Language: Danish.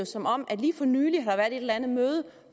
som om at der lige for nylig har været et eller andet møde